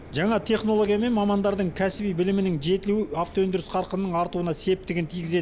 жаңа технология мен мамандардың кәсіби білімінің жетілуі автоөндіріс қарқынының артуына септігін тигізеді